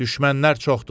Düşmənlər çoxdur.